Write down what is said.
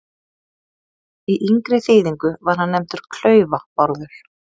Í yngri þýðingu var hann nefndur Klaufa-Bárður.